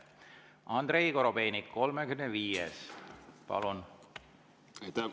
Andrei Korobeinik, 35., palun!